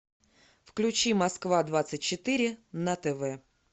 включи москва двадцать четыре на тв